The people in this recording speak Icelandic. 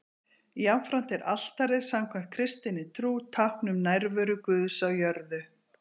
jafnframt er altarið samkvæmt kristinni trú tákn um nærveru guðs á jörðu